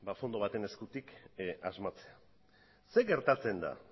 fondo baten eskutik asmatzea zer geratzen da